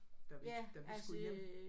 Da vi da vi skulle hjem